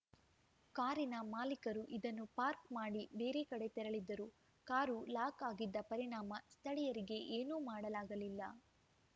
ಕಾರಿನ ಮಾಲೀಕರು ಇದನ್ನು ಪಾರ್ಕ್ ಮಾಡಿ ಬೇರೆ ಕಡೆ ತೆರಳಿದ್ದರು ಕಾರು ಲಾಕ್‌ ಆಗಿದ್ದ ಪರಿಣಾಮ ಸ್ಥಳೀಯರಿಗೆ ಏನೂ ಮಾಡಲಾಗಲಿಲ್ಲ